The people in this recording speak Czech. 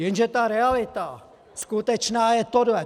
Jenže ta realita skutečná je tohle.